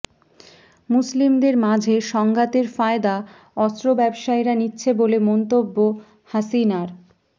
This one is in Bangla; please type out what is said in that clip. মুসলিমদের মাঝে সংঘাতের ফায়দা অস্ত্র ব্যবসায়ীরা নিচ্ছে বলে মন্তব্য হাসিনার